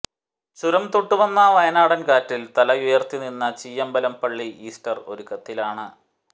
ചുരം തൊട്ടുവന്ന വയനാടൻ കാറ്റിൽ തലയുയർത്തി നിന്ന ചീയമ്പം പള്ളി ഈസ്റ്റർ ഒരുക്കത്തിലാണ്